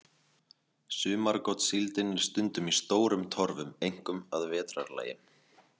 Sumargotssíldin er stundum í stórum torfum, einkum að vetrarlagi.